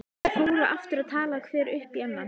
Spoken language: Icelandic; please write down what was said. Þeir fóru aftur að tala hver upp í annan.